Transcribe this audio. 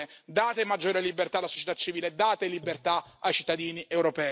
Date maggiore libertà alla società civile e date libertà ai cittadini europei.